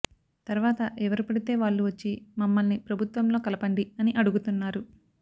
తర్వాత ఎవరు పడితే వాళ్లు వచ్చి మమ్మల్ని ప్రభుత్వంలో కలపండి అని అడుగుతున్నారు